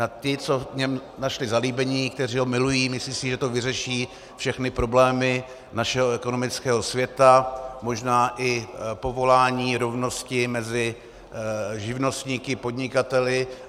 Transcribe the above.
Na ty, co v něm našli zalíbení, kteří ho milují, myslí si, že to vyřeší všechny problémy našeho ekonomického světa, možná i povolání, rovnosti mezi živnostníky, podnikateli.